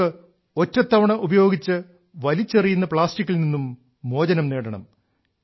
നമുക്ക് ഒറ്റത്തവണ ഉപയോഗിച്ച് വലിച്ചെറിയുന്ന പ്ലാസ്റ്റിക്കിൽ നിന്നും മോചനം നേടണം